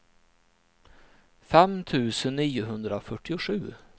fem tusen niohundrafyrtiosju